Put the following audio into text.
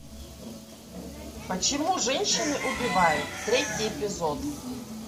почему женщины убивают третий эпизод